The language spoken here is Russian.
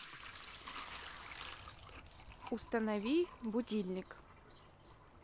установи будильник